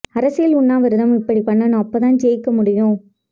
அரசியல் உண்ணாவிரதம் இப்படி பண்ணனும் அப்போ தான் ஜெய்க்க முடியும்